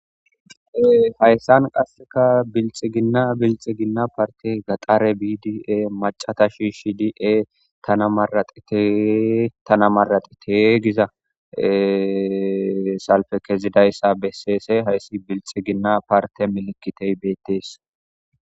Hayisan qaseka bilixigina bilixigina paritey gaxare bidiy e macata shishidi e tana maraxite giza e salipe kezizays beses hays bilixigina paritey gidizays betes